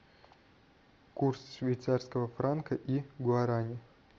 курс швейцарского франка и гуарани